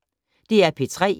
DR P3